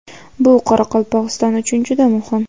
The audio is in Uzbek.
Bu Qoraqalpog‘iston uchun juda muhim.